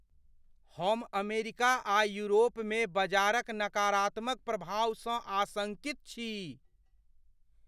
हम अमेरिका आ यूरोपमे बजारक नकारात्मक प्रभावसँ आशंकित छी।